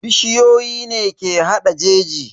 Bishiyoyi ne ke hada jeji.